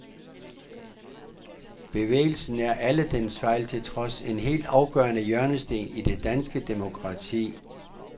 Bevægelsen er, alle dens fejl til trods, en helt afgørende hjørnesten i det danske demokrati.